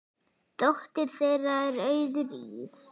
Dóttir þeirra er Auður Ýrr.